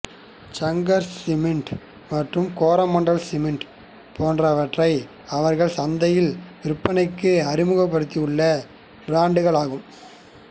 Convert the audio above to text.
Shankar cement மற்றும் Coromandel cement போன்றவற்றை அவர்கள் சந்தையில் விற்பனைக்கு அறிமுகப்படுத்தியுள்ள பிராண்டுகள் ஆகும்